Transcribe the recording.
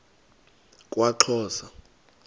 kwaxhosa